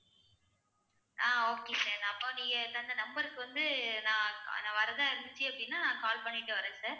ஆஹ் okay sir அப்போ நீங்க தந்த number க்கு வந்து நான் வர்றதா இருந்துச்சு அப்படின்னா call பண்ணிட்டு வர்றேன் sir